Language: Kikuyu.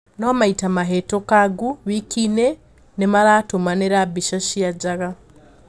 Noo maita mahitũkangu wikiini nimaratũmanira bica cia njaga.